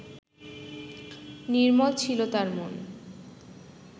নির্মল ছিল তাঁর মন